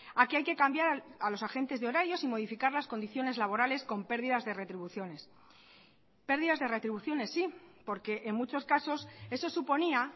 a que hay que cambiar a los agentes de horarios y modificar las condiciones laborales con pérdidas de retribuciones pérdidas de retribuciones sí porque en muchos casos eso suponía